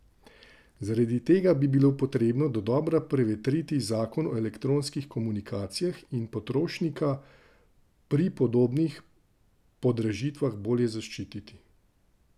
Zaradi tega bi bilo potrebno dodobra prevetriti zakon o elektronskih komunikacijah in potrošnika pri podobnih podražitvah bolje zaščititi.